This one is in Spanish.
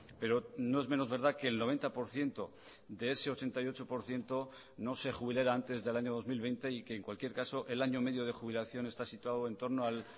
pero no es menos verdad que el noventa por ciento de ese ochenta y ocho por ciento no se jubilará antes del año dos mil veinte y que en cualquier caso el año medio de jubilación está situado entorno al